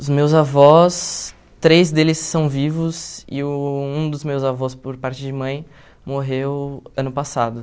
Os meus avós, três deles são vivos e uh um dos meus avós, por parte de mãe, morreu ano passado.